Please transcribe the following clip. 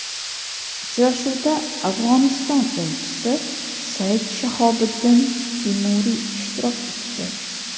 Uchrashuvda Afg‘oniston elchisi Sayid Shahobiddin Timuriy ishtirok etdi.